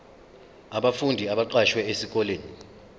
abafundi abaqashwe esikoleni